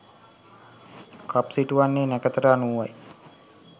කප් සිටුවන්නේ නැකතට අනුවයි.